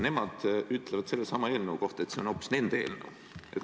Nemad ütlevad sellesama eelnõu kohta, et see on hoopis nende eelnõu.